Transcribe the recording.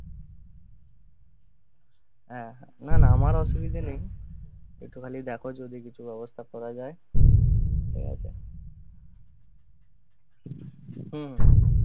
হ্যাঁ, হ্যাঁঁ না, না আমার অসুবিধে নেই, একটুখালি দেখো যদি কিছু ব্যবস্থা করা যায়, ঠিক আছে? হম